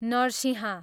Narasimha